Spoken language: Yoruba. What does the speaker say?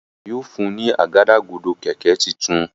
Màmá rẹ yóò fún ní Àgádágodo kẹ̀kẹ́ títún.